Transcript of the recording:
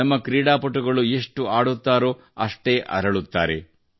ನಮ್ಮ ಕ್ರೀಡಾಪಟುಗಳು ಎಷ್ಟು ಆಡುತ್ತಾರೋ ಅಷ್ಟೇ ಅರಳುತ್ತಾರೆ